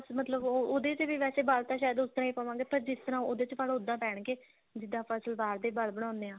ਮਤਲਬ ਉਹ ਉਹਦੇ ਚ ਵੀ ਵੈਸੇ ਵਲ ਤਾਂ ਸ਼ਾਇਦ ਉਸ ਤਰ੍ਹਾਂ ਹੀ ਪਾਵਾਂਗੇ ਪਰ ਜਿਸ ਤਰ੍ਹਾਂ ਉਹਦੇ ਚ ਪਾਲੋ ਓਦਾਂ ਪੈਣਗੇ ਜਿੱਦਾਂ ਆਪਾਂ ਸਲਵਾਰ ਦੇ ਵਲ ਬਣਾਉਂਦੇ ਹਾਂ